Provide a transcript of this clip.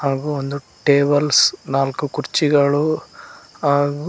ಹಾಗು ಒಂದು ಟ್ಯಾಬ್ಲೇಸ್ ನಾಲ್ಕು ಕುರ್ಚಿಗಳು ಹಾಗು--